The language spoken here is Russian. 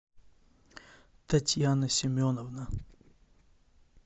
татьяна семеновна